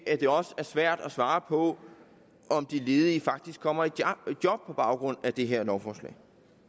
at det også er svært at svare på om de ledige faktisk kommer i job på baggrund af det her lovforslag